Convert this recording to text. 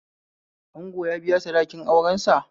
Ango ya biya sadakin aurensa